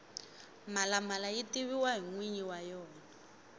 mhalamala yi tiviwa hi nwinyi wa yena